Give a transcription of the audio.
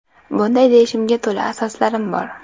Bunday deyishimga to‘la asoslarim bor.